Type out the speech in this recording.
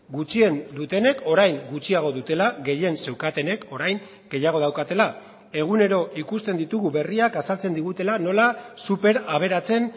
gutxien dutenek orain gutxiago dutela gehien zeukatenek orain gehiago daukatela egunero ikusten ditugu berriak azaltzen digutela nola super aberatsen